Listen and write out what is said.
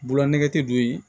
Bolola nɛgɛti don yen